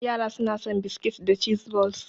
Yara suna son biskit da cheese balls.